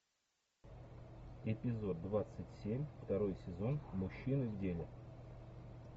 эпизод двадцать семь второй сезон мужчины в деле